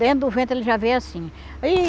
Dentro do ventre ele já veio assim. Ih